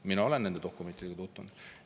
Mina olen nende dokumentidega tutvunud.